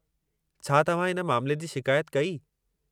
छा तव्हां इन मामले जी शिकायत कई?